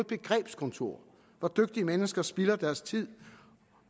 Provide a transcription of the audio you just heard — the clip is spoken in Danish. begrebskontor hvor dygtige mennesker spilder deres tid